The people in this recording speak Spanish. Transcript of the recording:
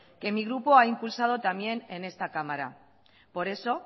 que mi grupo ha impulsado también en esta cámara por eso